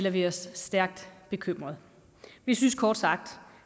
vi er stærkt bekymrede vi synes kort sagt